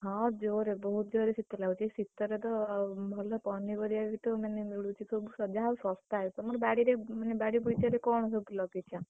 ହଁ, ଜୋରେ ବୋହୁତ ଜୋରେ ଶୀତ ଲାଗୁଛି, ଏଇ ଶୀତରେ ତ ଭଲ ପନିପରିବା ବିତ ମାନେ ମିଳୁଛି ସବୁ ଯାହାଉ, ଶସ୍ତା ଆଉ, ତମର ବାଡିରେ ମାନେ ବାଡିବଗିଚା ରେ କଣ ସବୁ ଲଗେଇଛ?